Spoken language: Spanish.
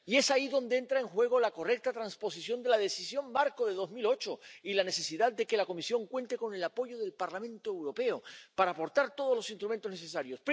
Y es ahí donde entra en juego la correcta transposición de la Decisión marco de 2008 y la necesidad de que la Comisión cuente con el apoyo del Parlamento Europeo para aportar todos los instrumentos necesarios.